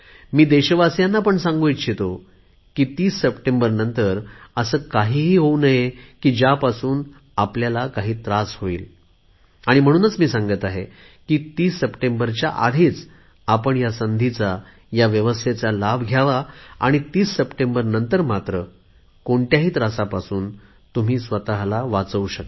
मी देशवासीयांना पण सांगू इच्छितो की 30 सप्टेंबरनंतर असे काही होऊ नये की ज्यापासून आपल्याला काही त्रास होवो म्हणून मी सांगत आहे 30 सप्टेंबरच्या आधी आपण या संधीचा लाभ घ्यावा आणि 30 सप्टेंबरनंतर मात्र होणाऱ्या त्रासापासून तुम्ही स्वतला वाचवा